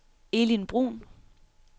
Elin Bruhn